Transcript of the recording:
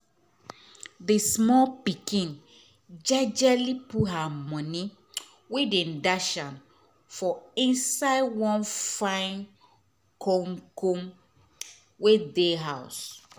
d small pikin jejely put her moni wey dem dash her for inside one fine koomkoom wey dey house